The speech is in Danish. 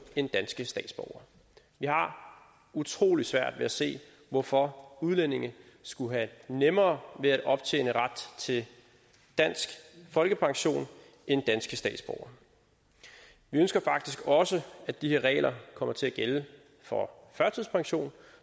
end danske statsborgere vi har utrolig svært ved at se hvorfor udlændinge skulle have nemmere ved at optjene ret til dansk folkepension end danske statsborgere vi ønsker faktisk også at de her regler kommer til at gælde for førtidspension